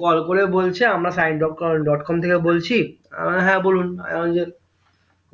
call করে বলছে আমরা সাইন ডট কম থেকে বলছি এর হ্যাঁ বলুন আহ